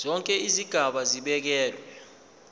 zonke izigaba zibekelwe